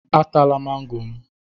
Atala mango m!